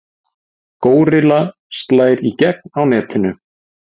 Górilla slær í gegn á netinu